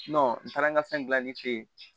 n taara n ka fɛn gilanni fɛ yen